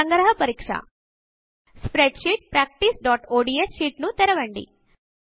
సంగ్రహ పరీక్ష spreadsheetpracticeఒడిఎస్ షీట్ ను తెరవండి